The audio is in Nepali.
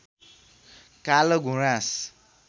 कालो गुराँस